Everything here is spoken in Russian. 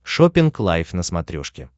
шоппинг лайф на смотрешке